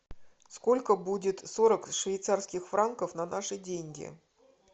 сколько будет сорок швейцарских франков на наши деньги